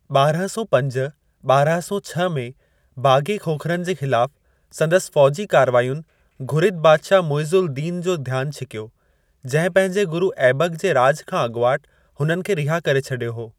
ॿारहं सौ पंज-ॿारहं सौ छह में बाग़ी खोखरनि जे ख़िलाफ़ु संदसि फ़ौजी कारवायुनि घुरिद बादिशाह मुइज़ एल-दीन जो ध्यानु छिकियो, जंहिं पंहिंजे गुरु ऐबक जे राॼ खां अॻुवाट हुननि खे रिहा करे छॾियो हो।